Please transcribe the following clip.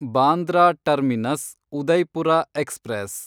Bandra terminus Udaipur express